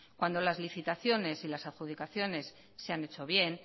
cuando las licitaciones y las adjudicaciones se han hecho bien